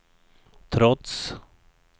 trots